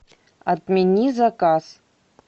отмени заказ